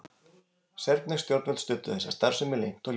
Serbnesk stjórnvöld studdu þessa starfsemi leynt og ljóst.